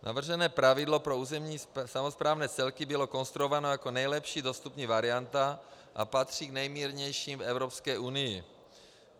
Navržené pravidlo pro územní samosprávné celky bylo konstruováno jako nejlepší dostupná varianta a patří k nejmírnějším v Evropské unii.